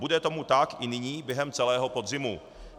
Bude tomu tak i nyní během celého podzimu.